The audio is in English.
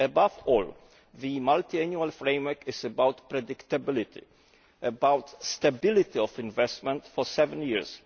Above all, the multiannual framework is about predictability, and about stability of investment over seven